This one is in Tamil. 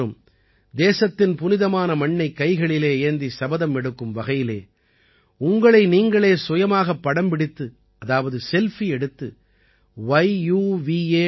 நீங்கள் அனைவரும் தேசத்தின் புனிதமான மண்ணை கைகளிலே ஏந்தி சபதம் எடுக்கும் வகையிலே உங்களை நீங்களே சுயமாகப்படம் பிடித்து அதாவது செல்ஃபி எடுத்து yuva